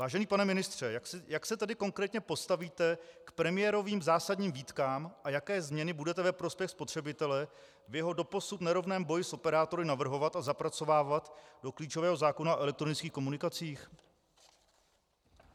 Vážený pane ministře, jak se tedy konkrétně postavíte k premiérovým zásadním výtkám a jaké změny budete ve prospěch spotřebitele v jeho doposud nerovném boji s operátory navrhovat a zapracovávat do klíčového zákona o elektronických komunikacích?